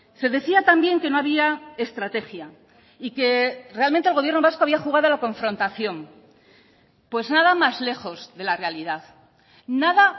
se decía también que no había estrategia y que realmente el gobierno vasco había jugado a la confrontación pues nada más lejos de la realidad nada